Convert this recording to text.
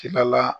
Tilala